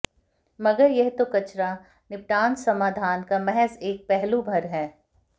मगर यह तो कचरा निपटान समाधान का महज एक पहलू भर है